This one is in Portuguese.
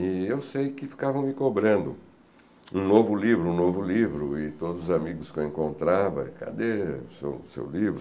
E eu sei que ficavam me cobrando um novo livro, um novo livro, e todos os amigos que eu encontrava, cadê o seu o seu livro?